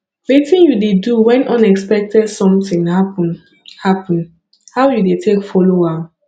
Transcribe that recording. wetin you dey do when unexpected something happen happen how you dey take follow am